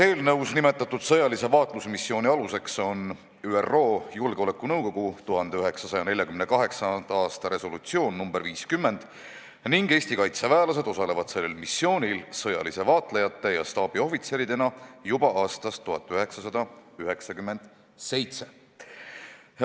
Eelnõus nimetatud sõjalise vaatlusmissiooni aluseks on ÜRO Julgeolekunõukogu 1948. aasta resolutsioon nr 50 ning Eesti kaitseväelased osalevad sellel missioonil sõjaliste vaatlejate ja staabiohvitseridena juba aastast 1997.